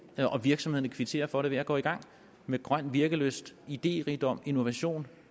og virksomhederne kvitterer for det ved at gå i gang med grøn virkelyst idérigdom innovation